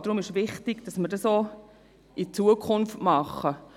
Deshalb ist wichtig, es auch in Zukunft so zu machen.